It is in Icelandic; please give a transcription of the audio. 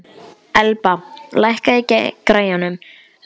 Elba, lækkaðu í græjunum.